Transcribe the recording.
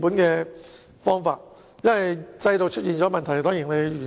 如果制度出現問題，便須予以完善。